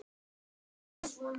Fjórum sinnum